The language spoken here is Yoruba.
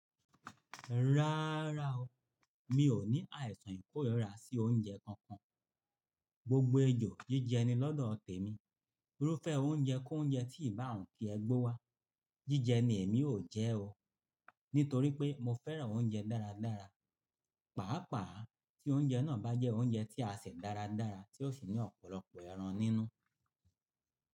Rárá o, mi ò ní àìsàn ìkórirà sí oúnjẹ kankan. Gbogbo ẹjọ́ jíjẹ ni lọ́dọ̀ tèmi. Irúfẹ́ oúnjẹ kó oúnjẹ tí ìbá wuń ki ẹ gbe wá, jíjẹ ni èmi ò jẹ o. Nítorí pé mo fẹ́ràn oúnjẹ dáradára. Pàápàá tí oúnjẹ náà bá jẹ́ oúnjẹ tí a sè dáradára tí ó sì ní ọ̀pọ̀lọpọ̀ ẹran nínú.